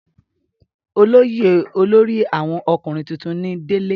olóyè olórí àwọn ọkùnrin tuntun ni délé